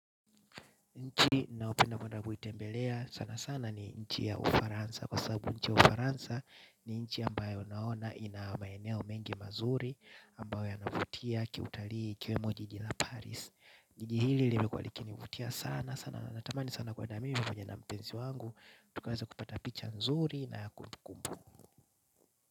Nchi ninayopenda kwenda kuitembelea sana sana ni nchi ya Ufaransa kwa sababu nchi ya Ufaransa ni nchi ambayo naona ina maeneo mengi mazuri ambayo yanavutia kiutalii ikiwemo jiji la paris. Nchi hili limekuwa likinivutia sana sana natamani sana kwenda mimi pamoja na mpenzi wangu. Tukaweze kupata picha nzuri na kumbukumbu.